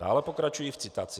Dále pokračuji v citaci: